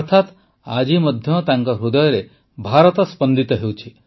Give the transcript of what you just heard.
ଅର୍ଥାତ୍ ଆଜି ମଧ୍ୟ ତାଙ୍କ ହୃଦୟରେ ଭାରତ ସ୍ପନ୍ଦିତ ହେଉଛି